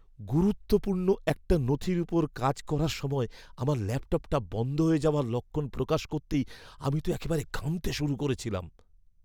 গুরুত্বপূর্ণ একটা নথির ওপর কাজ করার সময় আমার ল্যাপটপটা বন্ধ হয়ে যাওয়ার লক্ষণ প্রকাশ করতেই আমি তো একেবারে ঘামতে শুরু করেছিলাম।